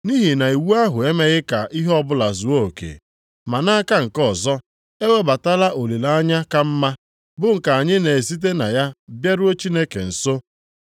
(nʼihi na iwu ahụ emeghị ka ihe ọbụla zuo oke), ma nʼaka nke ọzọ, e webatala olileanya ka mma, bụ nke anyị na-esite na ya bịaruo Chineke nso.